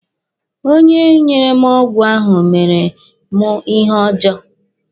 Onye nyere m ọgwụ ahụ mere mụ ihe ọjọọ.